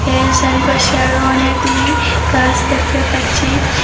এর চারিপাশে আরও অনেকগুলি গাস দেখতে পাচ্ছি।